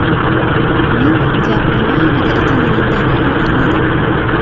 Men gap nima haqida ekanini darhol angladim.